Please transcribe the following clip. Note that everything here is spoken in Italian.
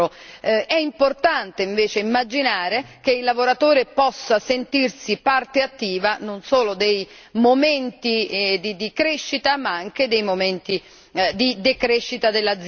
È importante, invece, immaginare che il lavoratore possa sentirsi parte attiva non solo dei momenti di crescita ma anche dei momenti di decrescita dell'azienda.